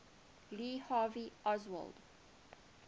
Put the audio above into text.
lee harvey oswald